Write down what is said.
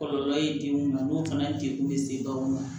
Kɔlɔlɔ ye den mun na n'o fana degun bɛ se baganw ma